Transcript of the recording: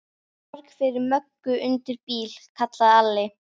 Borg fyrir Möggu undir bíl, kallaði Alli.